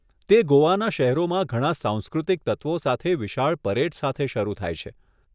તે ગોવાના શહેરોમાં ઘણાં સાંસ્કૃતિક તત્વો સાથે વિશાળ પરેડ સાથે શરૂ થાય છે.